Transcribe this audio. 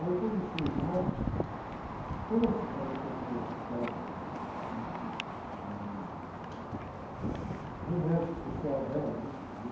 Aí, quando fui... Ah, quando eu fui, ela foi para o hospital, ãh, ali na... Com o médico especial dela, né?